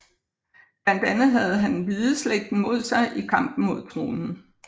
Blandt andet havde han Hvideslægten mod sig i kampen om tronen